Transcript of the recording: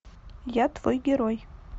я твой герой